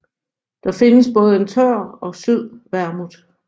Der findes både tør og sød vermouth